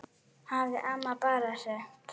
hafði amma bara sagt.